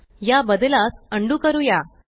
या बद्लास अंडू करूया